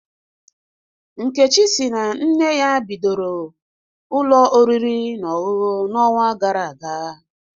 Nkechi si na nne ya bidoro ụlọ oriri na ọṅụṅụ n'ọnwa gara aga